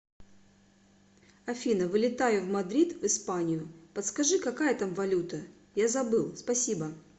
афина вылетаю в мадрид в испанию подскажи какая там валюта я забыл спасибо